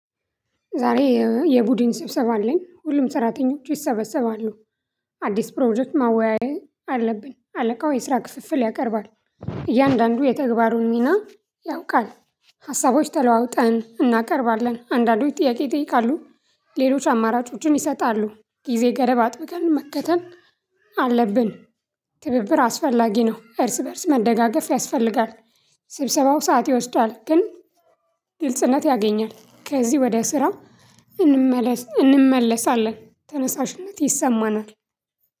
ዛሬ የቡድን ስብሰባ አለኝ ሁሉም ሰራተኞች ይሰበሰባሉ። አዲስ ፕሮጀክት ማወያዬ አለብኝ አለቃው የስራ ክፍፍል ያቀርባል። እያንዳንዱ የተግባሩን ሚና ያውቃል። ሀሳቦች ተለዋውጠን እናቀርባለን አንዳንዶች ጥያቄ ይጠይቃሉ። ሌሎች አማራጮችን ይሰጣሉ። ጊዜ ገደብ አጥብቀን መከተን አለብን። ትብብር አስፈላጊ ነው። እርስ በእርስ መደጋገፍ ያስፈልጋል። ስብሰባው ሰዓት ይወስዳል ግን ግልጽነት ያገኛል። ከዚህ ወደ ስራው። እንመለስአለን ተነሳሽነት ይሰማናል።